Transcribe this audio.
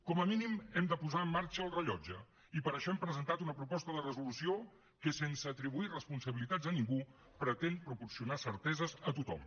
com a mínim hem de posar en marxa el rellotge i per això hem presentat una proposta de resolució que sense atribuir responsabilitats a ningú pretén proporcionar certeses a tothom